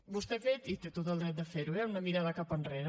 vostè ha fet i té tot el dret de fer ho eh una mirada cap enrere